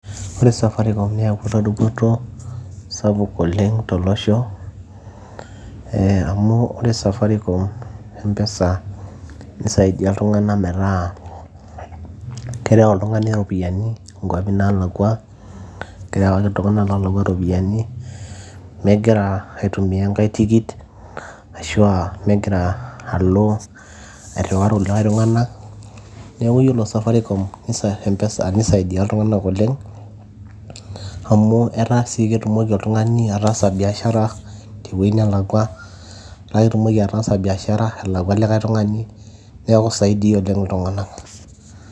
ore safaricom neyautua dupoto sapuk oleng tolosho eh, amu ore safaricom mpesa nisaidia iltung'ana metaa kerew oltung'ani iropiyiani nkuapi nalakua terewaki iltung'ana lolakua iropiyiani megira aitumia enkae tikit ashua megira alo airriwaa irkulikae tung'anak neeku yiolo safaricom nisaidia iltung'anak oleng amu etaa sii ketumoki oltung'ani ataasa biashara tewueji nelakua etaa ketumoki ataasa biashara elakua likae tung'ani neeku isaidia oleng iltung'anak.